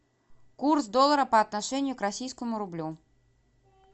курс доллара по отношению к российскому рублю